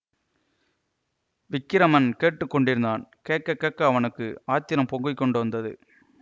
விக்கிரமன் கேட்டு கொண்டிருந்தான் கேட்க கேட்க அவனுக்கு ஆத்திரம் பொங்கி கொண்டு வந்தது